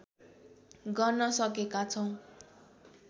गर्न सकेका छौँ